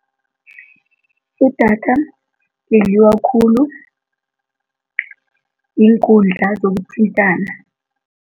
Idatha lidliwa khulu yiinkundla zokuthintana.